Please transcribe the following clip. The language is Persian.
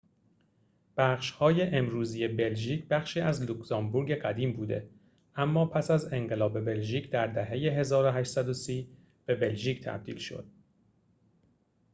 بخش‌های امروزی بلژیک بخشی از لوکزامبورگ قدیم بوده اما پس از انقلاب بلژیک در دهه ۱۸۳۰ به بلژیک تبدیل شد